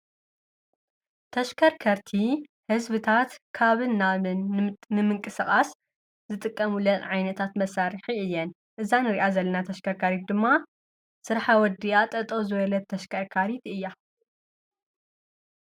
ተሽከርከርቲ ህዝብታት ካብን ናብን ንምንጥስቓሰ ዝጥቀሙለን ዓይነታት መሳርሒ እየን፡፡ እዛ ንርእያ ዘለና ተሽከርካሪት ድማ ስራሓ ወዲኣ ጠጠው ዝበለት ተሽከርካሪት እያ፡፡